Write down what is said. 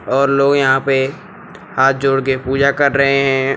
और लोग यहां पे हाथ जोड़कर पूजा कर रहे हैं।